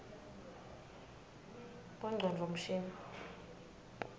bongcondvo mshini